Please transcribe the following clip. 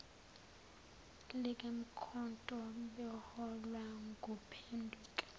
likamkhonto beholwa nguphenduka